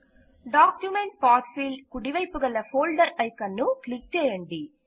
document path field కుడివైపు గల్ folder icon ను క్లిక్ చేయండి